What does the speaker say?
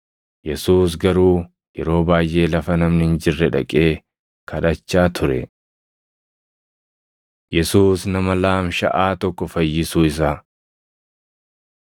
Yesuus garuu yeroo baayʼee lafa namni hin jirre dhaqee kadhachaa ture. Yesuus Nama Laamshaʼaa tokko Fayyisuu Isaa 5:18‑26 kwf – Mat 9:2‑8; Mar 2:3‑12